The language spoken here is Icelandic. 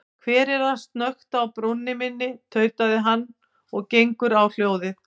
Hver er að snökta á brúnni minni, tautar hann og gengur á hljóðið.